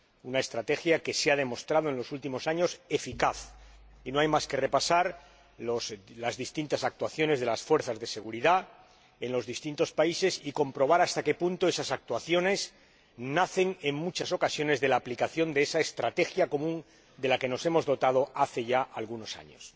Una estrategia que en los últimos años ha demostrado su eficacia no hay más que repasar las distintas actuaciones de las fuerzas de seguridad en los distintos países y comprobar hasta qué punto esas actuaciones nacen, en muchas ocasiones, de la aplicación de esa estrategia común de la que nos hemos dotado desde hace ya algunos años.